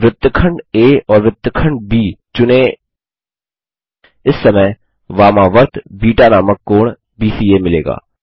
वृत्तखंड आ और वृत्तखंड ब चुनें इस समय वामावर्त बीटा नामक कोण बीसीए मिलेगा